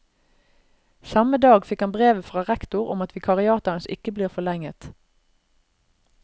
Samme dag fikk han brevet fra rektor om at vikariatet hans ikke blir forlenget.